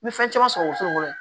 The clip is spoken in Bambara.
N ye fɛn caman sɔrɔ woson kɔnɔ